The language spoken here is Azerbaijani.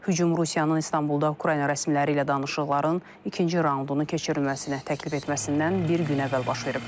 Hücum Rusiyanın İstanbulda Ukrayna rəsmiləri ilə danışıqların ikinci raundunu keçirilməsinə təklif etməsindən bir gün əvvəl baş verib.